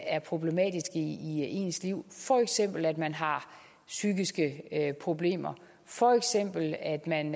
er problematiske i ens liv for eksempel at man har psykiske problemer for eksempel at man